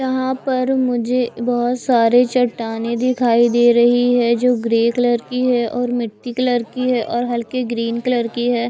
यहां पर मुझे बहोत सारे चट्टानें दिखाई दे रही है जो ग्रे कलर की है और मिट्टी कलर की है और हल्के ग्रीन कलर की है।